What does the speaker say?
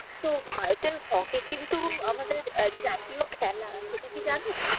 তো ভারতের হকি কিন্তু আমাদের জাতীয় খেলা সেটা কি জানো,